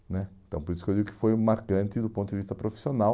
né Então por isso que eu digo que foi marcante do ponto de vista profissional.